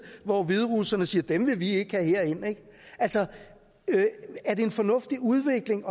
hvor hviderusserne siger at dem vil vi ikke have herind er det en fornuftig udvikling